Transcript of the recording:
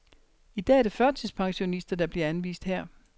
I dag er det førtidspensionister, der bliver anvist her.